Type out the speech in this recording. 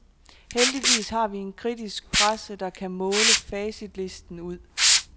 Heldigvis har vi en kritisk presse, der kan måle facitlisten ud.